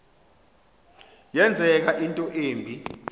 yenzeka into embi